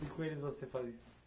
E com eles você faz